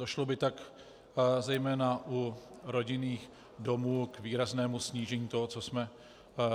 Došlo by tak zejména u rodinných domů k výraznému snížení toho, co jsme